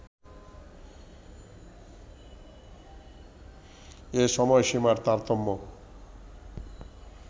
এ সময়সীমার তারতম্য